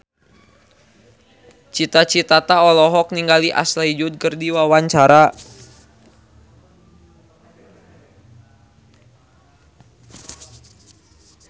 Cita Citata olohok ningali Ashley Judd keur diwawancara